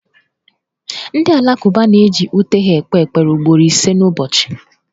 Ndị Alakụba na-eji ute ha kpee ekpere ugboro ise n'ụbọchị.